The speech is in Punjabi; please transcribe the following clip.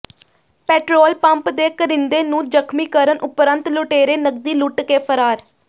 ਪੈਟਰੋਲ ਪੰਪ ਦੇ ਕਰਿੰਦੇ ਨੂੰ ਜ਼ਖ਼ਮੀ ਕਰਨ ਉਪਰੰਤ ਲੁਟੇਰੇ ਨਕਦੀ ਲੁੱਟ ਕੇ ਫ਼ਰਾਰ